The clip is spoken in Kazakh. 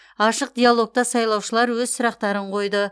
ашық диалогта сайлаушылар өз сұрақтарын қойды